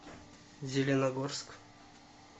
зеленогорск